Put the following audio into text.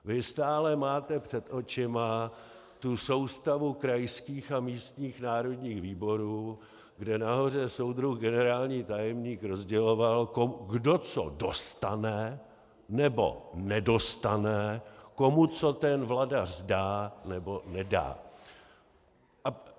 Vy stále máte před očima tu soustavu krajských a místních národních výborů, kde nahoře soudruh generální tajemník rozděloval, kdo co dostane nebo nedostane, komu co ten vladař dá nebo nedá.